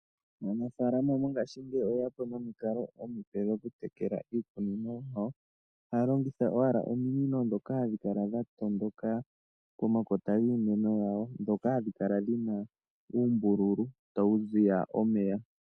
Aanafalama ngaashingeyi oye ya po nomikalo dhimwe dhokutekela iikunino, ohaya longitha owala ominino ndhoka hadhi kala dha dhatondoka pomakota giimeno yawo. Ohadhi kala dhi na uumbululu mboka ha wu kala ta wu ziya omeya.